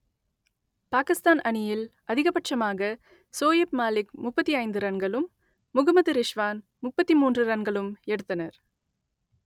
பாகிஸ்தான் அணியில் அதிகபட்சமாக சோயிப் மாலிக் முப்பத்தி ஐந்து ரன்களும் முகமது ரிஷ்வான் முப்பத்தி மூன்று ரன்களும் எடுத்தனர்